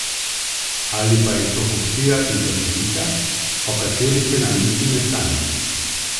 Ali pa je to kupčija iz zakulisja, o kateri se nam niti ne sanja?